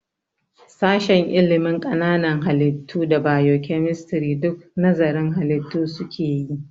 Sashen ilimin ƙananan halittu da bio-kemistri duk nazarın halitu su keyi